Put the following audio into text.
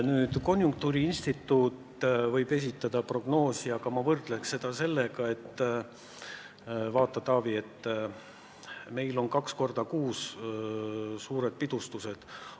Nüüd, konjunktuuriinstituut võib esitada prognoosi, aga ma võrdleks seda sellega, et vaata, Taavi, meil on kaks korda kuus suured pidustused.